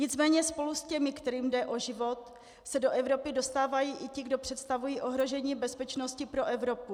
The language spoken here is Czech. Nicméně spolu s těmi, kterým jde o život, se do Evropy dostávají i ti, kdo představují ohrožení bezpečnosti pro Evropu.